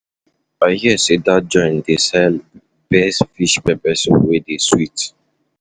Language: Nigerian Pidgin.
I hear say dat joint dey sell best fish pepper soup wey dey sweet.